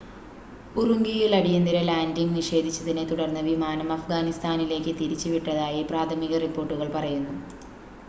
ഉറുംഖിയിൽ അടിയന്തിര ലാൻഡിംഗ് നിഷേധിച്ചതിനെ തുടർന്ന് വിമാനം അഫ്ഗാനിസ്ഥാനിലേക്ക് തിരിച്ച് വിട്ടതായി പ്രാഥമിക റിപ്പോർട്ടുകൾ പറയുന്നു